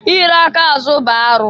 I ri aka azụ bụ arụ.